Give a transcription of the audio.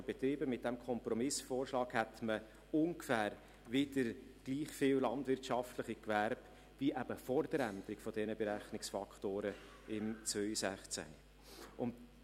Ich habe bereits davon gesprochen, dass man 2016 die Berechnungsfaktoren abgeändert hatte und es durch diese Abänderung zu einer Verschiebung der landwirtschaftlichen Betriebe kam.